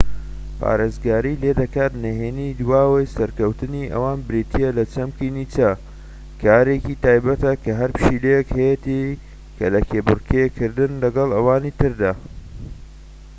نهێنی دواوەی سەرکەوتنی ئەوان بریتیە لە چەمکی نیچە، کارێکی تایبەتە کە هەر پشیلەیەک هەیەتی کە لە کێبڕکێ کردن لەگەڵ ئەوانی تردا‎ پارێزگاری لێ دەکات